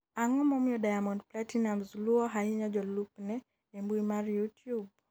ang'o momiyo Diamond Platnumz luwo ahinya jolupne e mbui mar youtube?